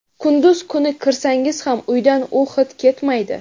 Kunduz kuni kirsangiz ham uydan u hid ketmaydi.